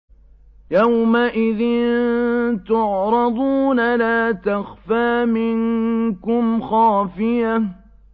يَوْمَئِذٍ تُعْرَضُونَ لَا تَخْفَىٰ مِنكُمْ خَافِيَةٌ